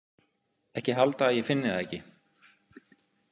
Ekki halda að ég finni það ekki.